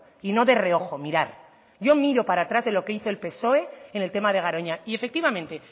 y no de reojo mirar yo miro para atrás de lo que hizo el psoe en el tema de garoña y efectivamente